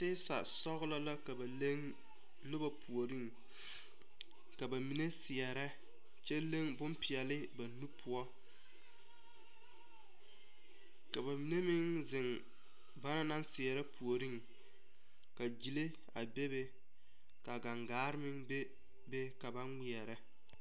Patisasɔglɔ la ka na leŋ noba puoriŋ ka ba mine seɛrɛ kyɛ leŋ boŋpeɛle ba nu poɔ ka ba mine meŋ ziŋ banaŋ naŋ seɛre puoriŋ ka gyile a bebe ka gaŋgaare meŋ bebe ka na ŋmeɛrɛ.